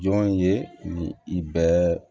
Jɔn ye ni i bɛ